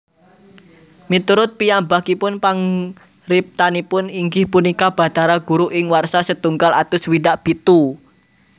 Miturut piyambakipun pangriptanipun inggih punika Bathara Guru ing warsa setunggal atus swidak pitu